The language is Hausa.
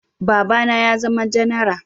Baba na ya zama janara